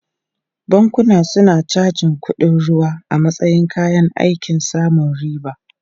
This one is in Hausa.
Bankuna suna cajin kuɗin ruwa a matsayin kayan aikin samun riba.